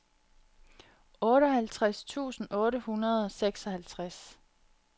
otteoghalvtreds tusind otte hundrede og seksoghalvtreds